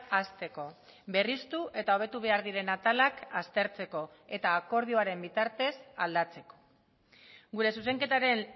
hasteko berriztu eta hobetu behar diren atalak aztertzeko eta akordioaren bitartez aldatzeko gure zuzenketaren